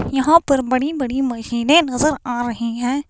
यहां पर बड़ी-बड़ी मशीनें नजर आ रही हैं।